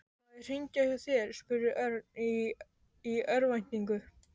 Má ég hringja hjá þér? spurði Örn í örvæntingu.